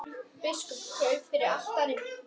Biskup kraup fyrir altari.